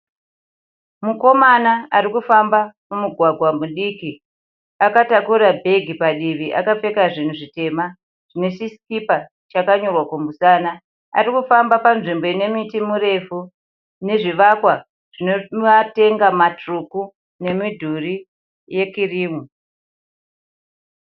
Mukomana arikufamba mumugwagwa mudiki, akataura bhegi padivi akapfeka zvinhu zvitema. Zvinechisikipa chakanyorwa kumusana. Arikufamba panzvimbo inemiti mirefu nezvivakwa zvine matenga matsvuku nemidhuri yekirimu.